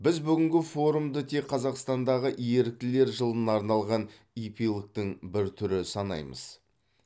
біз бүгінгі форумды тек қазақстандағы еріктілер жылына арналған эпилогтың бір түрі санамаймыз